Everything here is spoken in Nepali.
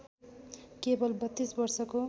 केवल ३२ वर्षको